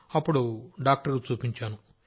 అప్పుడు డాక్టర్కి చూపించాను